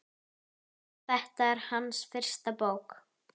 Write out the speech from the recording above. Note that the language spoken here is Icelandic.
Þetta er hans fyrsta bók.